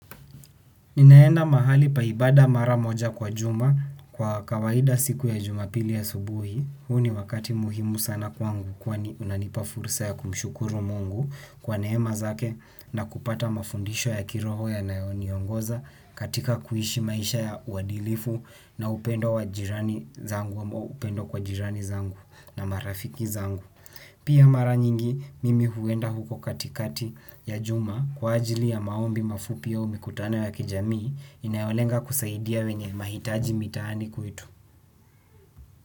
Ninaenda mahali pa ibada mara moja kwa juma kwa kawaida siku ya juma pili asubuhi, huu ni wakati muhimu sana kwangu kwani unanipa fursa ya kumshukuru mungu kwa neema zake na kupata mafundisho ya kiroho yanayoni ongoza katika kuishi maisha ya uwadilifu na upendo kwa jirani zangu na marafiki zangu. Pia mara nyingi mimi huenda huko katikati ya Juma kwa ajili ya maombi mafupi au mikutano ya kijamii inayolenga kusaidia wenye mahitaji mitahani kwetu.